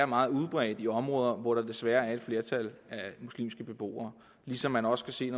meget udbredte i områder hvor der desværre er et flertal af muslimske beboere ligesom man også kan se at